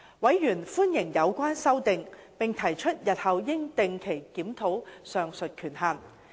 委員歡迎有關修訂，並提出日後應定期檢討上述權限。